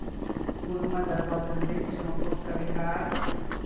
Por uma das obras dele, que chama Porto Calendário e.